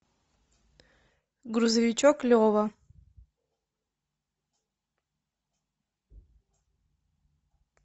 грузовичок лева